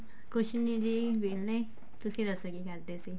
ਕੁੱਝ ਨੀ ਜੀ ਕਿਹਲੇ ਤੁਸੀਂ ਦੱਸੋ ਕੀ ਕਰਦੇ ਸੀ